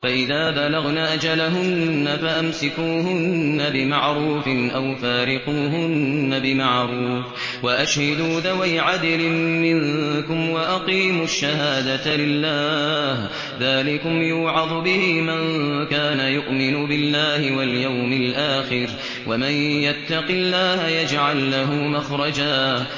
فَإِذَا بَلَغْنَ أَجَلَهُنَّ فَأَمْسِكُوهُنَّ بِمَعْرُوفٍ أَوْ فَارِقُوهُنَّ بِمَعْرُوفٍ وَأَشْهِدُوا ذَوَيْ عَدْلٍ مِّنكُمْ وَأَقِيمُوا الشَّهَادَةَ لِلَّهِ ۚ ذَٰلِكُمْ يُوعَظُ بِهِ مَن كَانَ يُؤْمِنُ بِاللَّهِ وَالْيَوْمِ الْآخِرِ ۚ وَمَن يَتَّقِ اللَّهَ يَجْعَل لَّهُ مَخْرَجًا